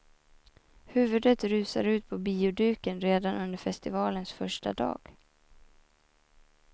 Huvudet rusar ut på bioduken redan under festivalens första dag.